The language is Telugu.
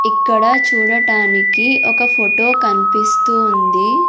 ఇక్కడ చూడటానికి ఒక ఫొటొ కన్పిస్తూ ఉంది.